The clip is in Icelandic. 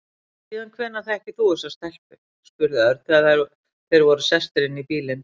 Síðan hvenær þekkir þú þessa stelpu? spurði Örn þegar þeir voru sestir inn í bílinn.